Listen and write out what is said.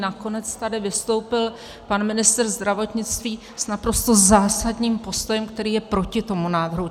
Nakonec tady vystoupil pan ministr zdravotnictví s naprosto zásadním postojem, který je proti tomu návrhu.